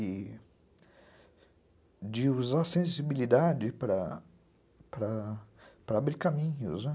E de usar sensibilidade para abrir caminhos, né?